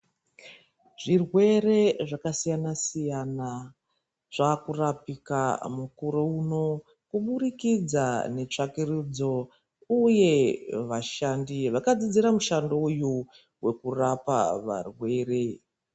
Zvirwere zvakasiyana siyana zvaakurapika mukuro uno kuburikidza netsvakurudzo uye vashandi vakadzidzira mushando uyu wekurapa varwere .